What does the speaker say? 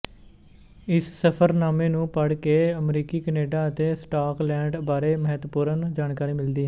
ਇਸ ਸਫ਼ਰਨਾਮੇ ਨੂੰ ਪੜ੍ਹ ਕੇ ਅਮਰੀਕਾ ਕੈਨੇਡਾ ਅਤੇ ਸਕਾਟਲੈਂਡ ਬਾਰੇ ਮਹੱਤਵਪੂਰਨ ਜਾਣਕਾਰੀ ਮਿਲਦੀ ਹੇੈ